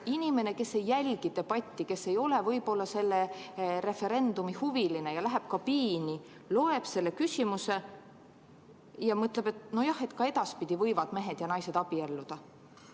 " Inimene, kes ei jälgi debatti, kes ei ole võib-olla selle referendumi huviline, läheb kabiini, loeb selle küsimuse läbi ja mõtleb, et nojah, ka edaspidi võivad mehed ja naised abielluda.